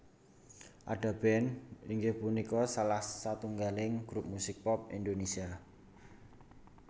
Ada Band inggih punika salah satunggaling grup musik pop Indonesia